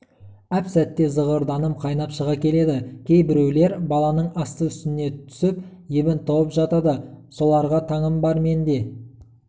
әп-сәтте зығырданым қайнап шыға келеді кейбіреулер баланың асты-үстіне түсіп ебін тауып жатады соларға таңым бар менде